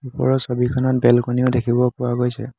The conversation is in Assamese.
ওপৰৰ ছবিখনত বেলকণি ও দেখিব পোৱা গৈছে।